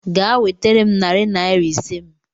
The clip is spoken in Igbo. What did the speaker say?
Gaa wetere m narị naira ise m